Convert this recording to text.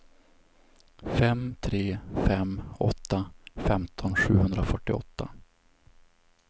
fem tre fem åtta femton sjuhundrafyrtioåtta